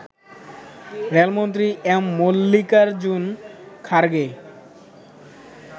রেলমন্ত্রী এম মল্লিকারজুন খারগে